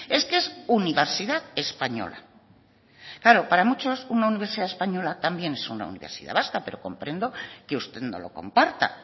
es que es universidad española claro para muchos una universidad española también es una universidad vasca pero comprendo que usted no lo comparta